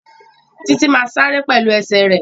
Títí má sáré pẹ̀lú ẹsẹ̀ rẹ̀